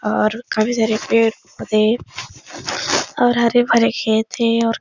और काफी सारे पेड-पौधे और हरे-भरे खेत हैं और --